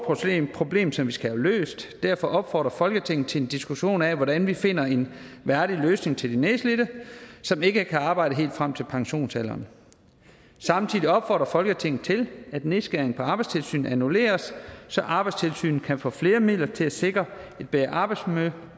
problem som vi skal have løst derfor opfordrer folketinget til en diskussion af hvordan vi finder en værdig løsning til de nedslidte som ikke kan arbejde helt frem til pensionsalderen samtidig opfordrer folketinget til at nedskæringerne på arbejdstilsynet annulleres så arbejdstilsynet kan få flere midler til at sikre et bedre arbejdsmiljø